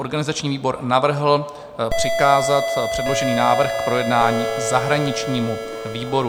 Organizační výbor navrhl přikázat předložený návrh k projednání zahraničnímu výboru.